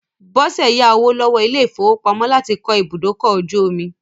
Bọ́sẹ̀ yá owó lọ́wọ́ ilé-ìfowópamọ́ láti kọ́ ibùdókọ̀-ojú-omi.